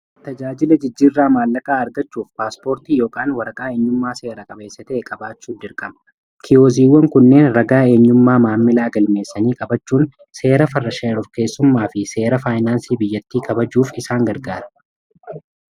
tajaajila jijjiirraa maallaqa argachuuf paaspoortii yn waraqaa eenyummaa seera qabeessatae qabaachuu jirqama kiyoziiwwan kunneen ragaa eenyummaa maammila agalmeessanii qabachuun seera farrasheerur keessummaa fi seera faayinaansii biyyattii kabajuuf isaan gargaara